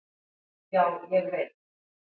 Já, ég veit.